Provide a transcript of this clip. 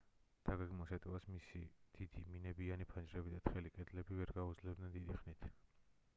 დაგეგმილ შეტევას მისი დიდი მინებიანი ფანჯრები და თხელი კედლები ვერ გაუძლებდნენ დიდი ხნით